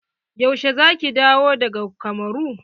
Yaushe za ki dawo daga kamuru?